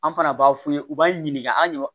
An fana b'a f'u ye u b'an ɲininka an ɲe